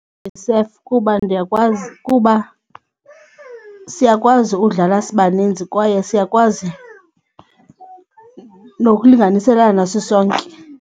kuba ndiyakwazi kuba siyakwazi ukudlala sibaninzi kwaye siyakwazi nokulinganiselana sisonke.